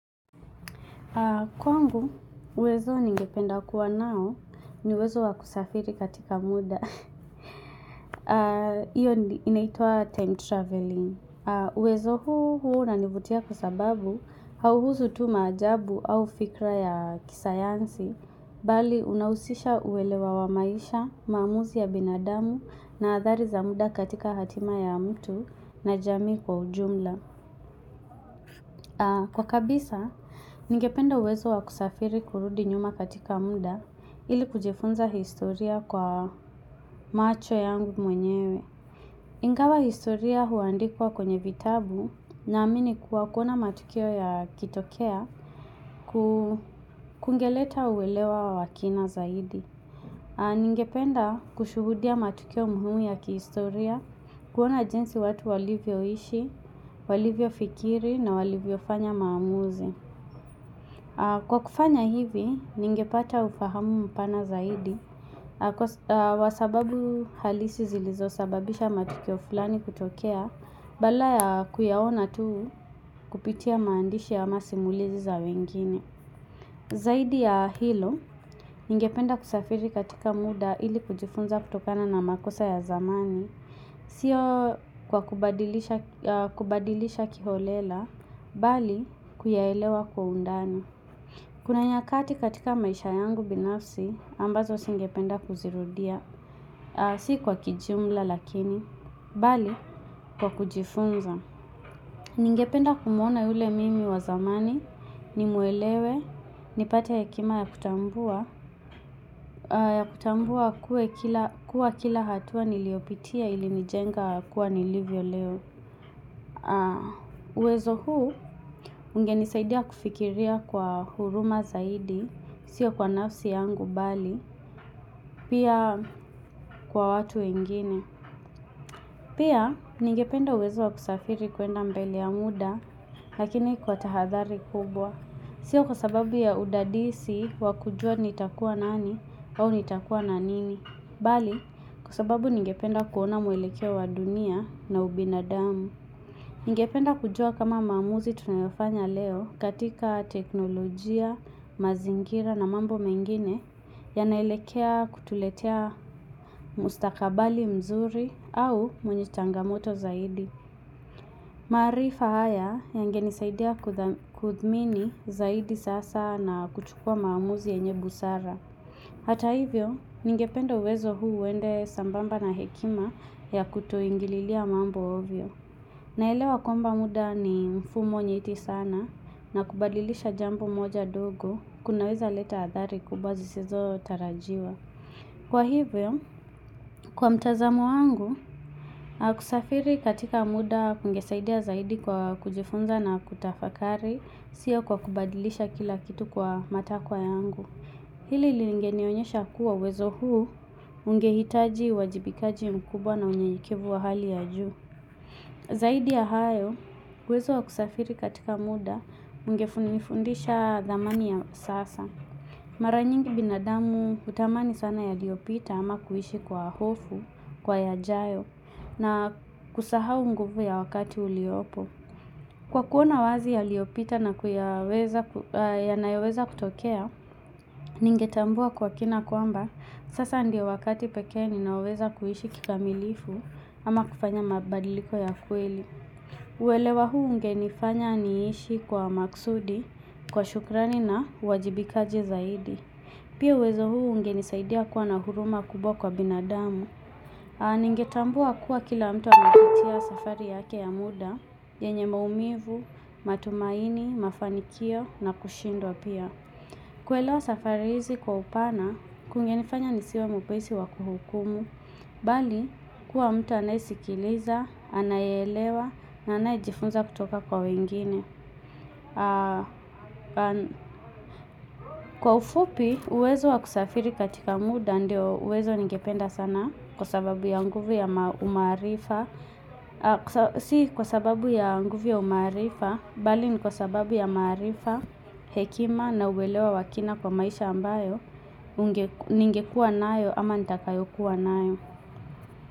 Kwangu, uwezo ningependa kuwa nao ni uwezo wakusafiri katika muda. Hiyo inaitwa time traveling. Uwezo huu huwa unanivutia kwa sababu hauhusu tu maajabu au fikra ya kisayansi. Bali, unahusisha uelewa wa maisha, maamuzi ya binadamu na athari za muda katika hatima ya mtu na jamii kwa ujumla. Kwa kabisa, ningependa uwezo wa kusafiri kurudi nyuma katika munda ili kujifunza historia kwa macho yangu mwenyewe. Ingawa historia huandikwa kwenye vitabu naamini kuwa kuona matukio yakitokea kungeleta uwelewa wa kina zaidi. Ningependa kushuhudia matukio muhimu ya kihistoria kuona jinsi watu walivyoishi, walivyofikiri na walivyofanya maamuzi. Kwa kufanya hivi, ningepata ufahamu mpana zaidi, kwa sababu halisi zilizosababisha matukio fulani kutokea, badala ya kuyaona tu kupitia maandishi ama simulizi za wengine. Zaidi ya hilo, ningependa kusafiri katika muda ili kujifunza kutokana na makosa ya zamani, sio kwa kubadilisha kubadilisha kiholela, bali kuyaelewa kwa undani. Kuna nyakati katika maisha yangu binafsi, ambazo singependa kuzirudia, si kwa kijumla lakini, bali kwa kujifunza. Ningependa kumuona yule mimi wa zamani, nimuelewe, nipate hekima ya kutambua, ya kutambua kuwa kila hatua niliopitia ilinijenga kuwa nilivyo leo. Uwezo huu ungenisaidia kufikiria kwa huruma zaidi, siyo kwa nafsi yangu bali, pia kwa watu wengine. Pia, ningependa uwezo wakusafiri kwenda mbele ya muda, lakini kwa tahadhali kubwa. Sio kwa sababu ya udadisi wakujua nitakua nani au nitakua na nini. Bali, kwa sababu ningependa kuona mwelekeo wa dunia na ubinadamu. Ningependa kujua kama maamuzi tunayofanya leo katika teknolojia, mazingira na mambo mengine yanaelekea kutuletea mustakabali mzuri au mwenye changamoto zaidi. Maarifa haya yangenisaidia kudha kudhimini zaidi sasa na kuchukua maamuzi yenye busara. Hata hivyo, ningependa uwezo huu uende sambamba na hekima ya kutoingililia mambo ovyo. Naelewa kwamba muda ni mfumo nyeti sana na kubadilisha jambo moja ndogo kunaweza leta athari kubwa zisizotarajiwa. Kwa hivyo, kwa mtazamo wangu, hakusafiri katika muda kungesaidia zaidi kwa kujifunza na kutafakari sio kwa kubadilisha kila kitu kwa matakwa yangu. Hili lingenionyesha kuwa uwezo huo ungehitaji wajibikaji mkubwa na unyekekevu wa hali ya juu. Zaidi ya hayo, uwezo wa kusafiri katika muda ungefu nifundisha dhamani ya sasa. Mara nyingi binadamu hutamani sana yaliopita ama kuhishi kwa hofu, kwa yajayo, na kusahao nguvu ya wakati uliopo. Kwa kuona wazi yaliyopita na kuyaweza yanoweza kutokea, ningetambua kwa kina kwamba sasa ndiyo wakati pekee ninaoweza kuishi kikamilifu ama kufanya mabadiliko ya kweli. Uelewa huu ungenifanya niishi kwa maksudi, kwa shukrani na uwajibikaji zaidi. Pia uwezo huu ungenisaidia kuwa na huruma kubwa kwa binadamu. Ningetambua kuwa kila mtu anapitia safari yake ya muda, yenye maumivu, matumaini, mafanikio na kushindwa pia. Kwelewa safari hizi kwa upana, kungenifanya nisiwe mwepesi wa kuhukumu. Bali kuwa mtu anaisikiliza, anayeelewa, na anayejifunza kutoka kwa wengine. Kwa ufupi, uwezo wakusafiri katika muda ndio uwezo ningependa sana kwa sababu ya nguvu ya umaarifa. Si kwa sababu ya nguvu ya umaarifa, bali ni kwa sababu ya umaarifa, hekima na uelewa wakina kwa maisha ambayo ningekuwa nayo ama nitakayokuwa nayo.